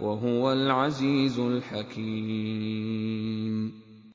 وَهُوَ الْعَزِيزُ الْحَكِيمُ